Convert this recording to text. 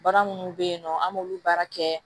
Baara minnu bɛ yen nɔ an b'olu baara kɛ